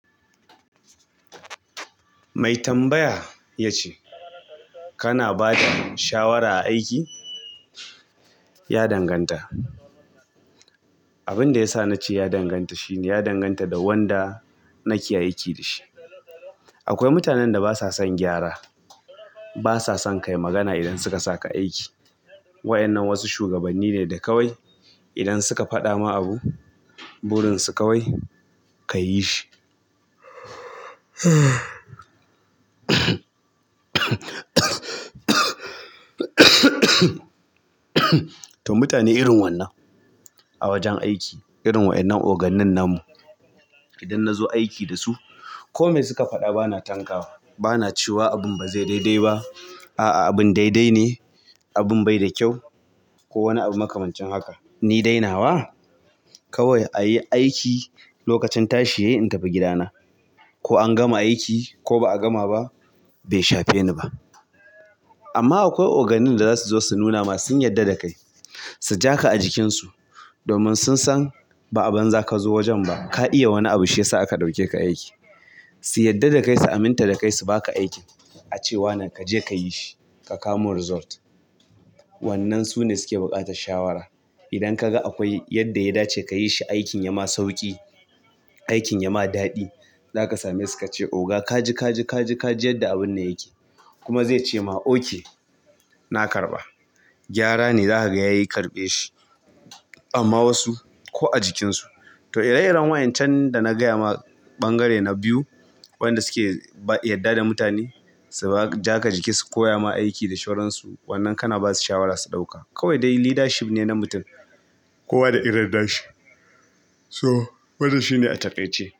Mai tambaya ya ce, "Kana ba da shawara a aiki?" Ya danganta. Abinda yasa nace ya danganta shine ya danganta da wanda nake aiki da shi. Akwai mutanen da ba sa san gyara. Ba sa son kai magana idan suka saka aiki. Waƴannan wasu shugabanni ne da kawai idan suka faɗa ma abu, burin su kawai ka yi shi. To mutane irin wannan a wajen aiki, irin waƴannan ogannin namu. Idan na zo aiki da su, kome suka faɗa bana tankawa. Bana cewa abun ba zai daidai ba. Aa abun daidai ne, abun baida kyau, ko wani abu maka mancin haka. Ni dainawa. Kawai a yi aiki lokacin tashi yayi in tafi gidana. Ko an gama aiki ko ba a gama ba bai shafe ni ba. Amma akwai ogannin da za su zo su nuna ma sun yadda da kai. Su ja ka a jikinsu domin sun san ba abanza ka zo wajen ba. Ka iya wani abu shiyasaa aka ɗauke ka aiki. Su yarda da kai su aminta da kai su ba ka aikin a cewa nan ka je ka yi shi ka kamun result. Wannan su ne suke buƙatar shawara. Idan ka ga akwai yadda ya dace ka yi shi aikin ya ma sauƙi, aikin ya ma daɗi. Za ka same su ka ce, "Oga kaji kaji kaji kaji yadda abun nan yake." Kuma zai ce ma, "Ok, na karɓa." Gyara ne za ka ga ya yi karɓe shi. Amma wasu ko a jikinsu. To ire-iren waƴancan da na gaya ma ɓangare na biyu, waƴanda suke ba-- yadda da mutane, su ba-- ja ka jiki su koya ma aiki da sauransu, wannan kana ba su shawara su ɗauka. Kawai dai leadership ne na mutum. Kowa da irin na shi to, wannan shi ne a taƙaice.